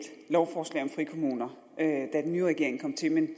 lovforslag om frikommuner da den nye regering kom til men